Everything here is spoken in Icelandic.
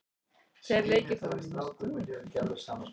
Tveir leikir fóru fram í Meistaradeild Evrópu í gærkvöld.